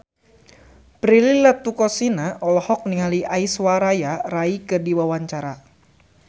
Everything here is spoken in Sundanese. Prilly Latuconsina olohok ningali Aishwarya Rai keur diwawancara